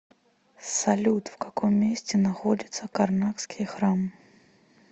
салют в каком месте находится карнакский храм